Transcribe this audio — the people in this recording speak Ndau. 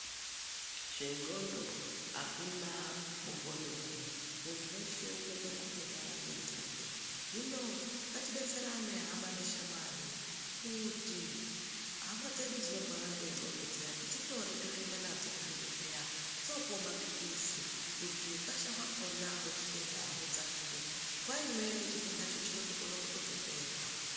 Zve ndxondo akuna mugoni wazvo muntu weshe unokona kutorwara nge ndxondo hino ngatibetserane hama neshamwari kuti hama dzedu dzinorwara ngendxondo dziya todzitore totoendanadzo kuzvibhedhlera dzopuwe mapilizi kuti hukasha hwakona hwechitenda hudzakire nguwa imweni chitenda cho chinotokona kutozo pera.